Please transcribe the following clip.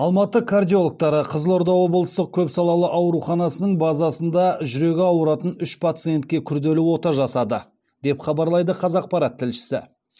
алматы кардиологтары қызылорда облыстық көпсалалы ауруханасының базасында жүрегі ауыратын үш пациентке күрделі ота жасады деп хабарлайды қазақпарат тілшісі